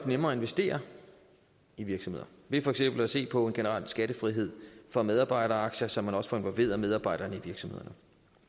nemmere at investere i virksomheder ved for eksempel at se på en generel skattefrihed for medarbejderaktier så man også får involveret medarbejderne i virksomhederne